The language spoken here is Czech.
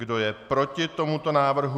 Kdo je proti tomuto návrhu?